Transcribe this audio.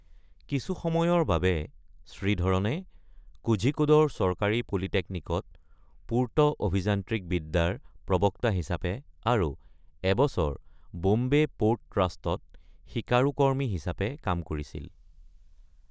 কিছু সময়ৰ বাবে শ্ৰীধৰণে কোঝিকোডৰ চৰকাৰী পলিটেকনিকত পূৰ্ত অভিযান্ত্ৰিক বিদ্যাৰ প্ৰবক্তা হিচাপে আৰু এবছৰ বম্বে প’ৰ্ট ট্ৰাষ্টত শিকাৰুকৰ্মী হিচাপে কাম কৰিছিল।